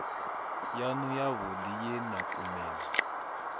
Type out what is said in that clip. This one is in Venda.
yanu yavhudi ye na kumedzwa